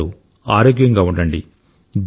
మీరందరూ ఆరోగ్యంగా ఉండండి